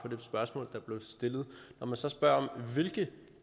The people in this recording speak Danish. spørgsmål der blev stillet når man så spørger om hvilke